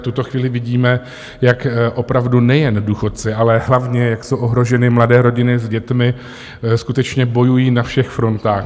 V tuto chvíli vidíme, jak opravdu nejen důchodci, ale hlavně jak jsou ohroženy mladé rodiny s dětmi, skutečně bojují na všech frontách.